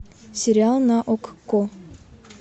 сериал на окко